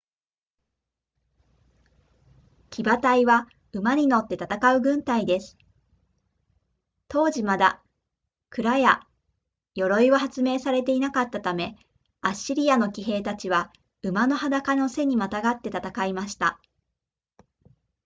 騎馬隊は馬に乗って戦う軍隊です当時まだ鞍や鐙は発明されていなかったためアッシリアの騎兵たちは馬の裸の背にまたがって戦いました